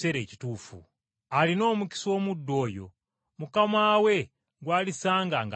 Alina omukisa omuddu oyo, mukama we gw’alisanga ng’akola bw’atyo.